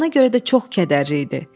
Ona görə də çox kədərli idi.